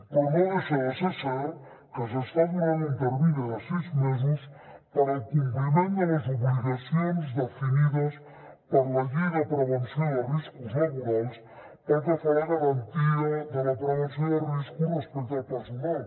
però no deixa de ser cert que s’està donant un termini de sis mesos per al compliment de les obligacions definides per la llei de prevenció de riscos laborals pel que fa a la garantia de la prevenció de riscos respecte al personal